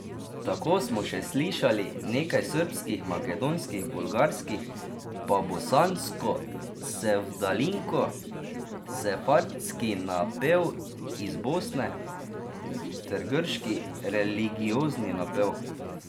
Tako smo še slišali nekaj srbskih, makedonskih, bolgarskih, pa bosansko sevdalinko, sefardski napev iz Bosne ter grški religiozni napev.